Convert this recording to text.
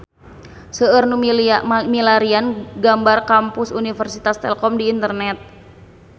Seueur nu milarian gambar Kampus Universitas Telkom di internet